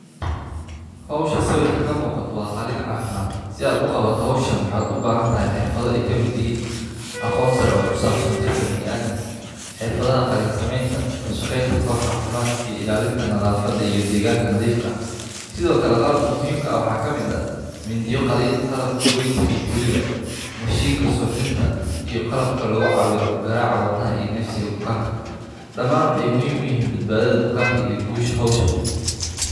Hawsha sawirka ka muuqato waa qaliin cafimaad si aad u qabato hawshaan waxaad u baahan tahay xirfado ay kamid yihiin aqoon sare oo ku saabsan jirka biniaadamka , xirfadaha qaliin sameynta , la shaqeynta koox caafimaad iyo ilaalinta nadaafada iyo deegaanka nadiifka ah sido kale qalabka muhiimka ah waxaa kamid ah mindiyaha qaliinka, qalanka goynta iyo tolidda iyo mashiinka suuxdinta iyo qalabka lagu cabiro garaaca wadnaha iyo neefsiga bukaanka . Dhamaan waxey muhiim u yihiin badbaadada bukaanka iyo ku guuleysiga hawsha